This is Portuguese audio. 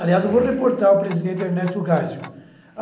Aliás, eu vou reportar ao presidente Ernesto Gássio.